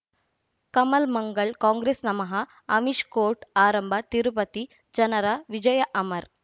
ಕಮಲ್ ಮಂಗಳ್ ಕಾಂಗ್ರೆಸ್ ನಮಃ ಅಮಿಷ್ ಕೋರ್ಟ್ ಆರಂಭ ತಿರುಪತಿ ಜನರ ವಿಜಯ ಅಮರ್